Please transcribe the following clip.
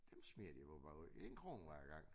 Dem smider de åbenbart ud én krone hver gang